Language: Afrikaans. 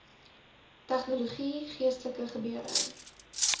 tegnologie geestelike gebeure